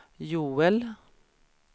Joel